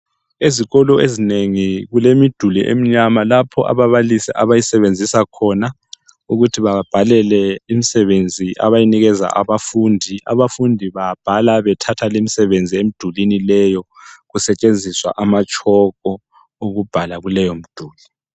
Ezikolo ezinengi kulemiduli emnyama lapho ababalisi abayisebenzisa khona ukuthi bababhalele imsebenzi abayinikeza abafundi, abafundi babhala bethatha limsebenzi emdulweni leyo kusetshenziswa amatshoko okubhala kuleyomduli.